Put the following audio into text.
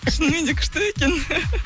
шынымен де күшті екен